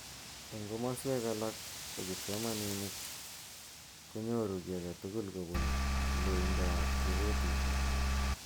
Eng kimoswek alak ko kipsomaninik konyoru ki age tugul kobun loindo ab repotishek.